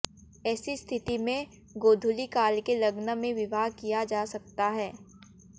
ऐसी स्थिति में गोधूलि काल के लग्न में विवाह किया जा सकता है